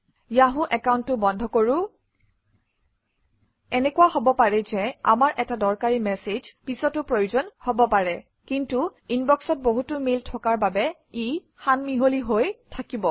Yahoo একাউণ্টটো বন্ধ কৰোঁ এনেকুৱা হব পাৰে যে আমাৰ এটা দৰকাৰী মেচেজ পিছতো প্ৰয়োজন হব পাৰে কিন্তু ইনবক্সত বহুতো মেইল থকাৰ বাবে ই সান মিহলি হৈ থাকিব